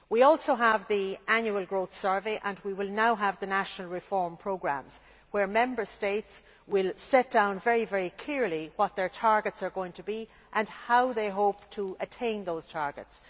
We also have the annual growth survey and will now have the national reform programmes, where Member States will set down very clearly what their targets are going to be and how they hope they hope to attain those targets.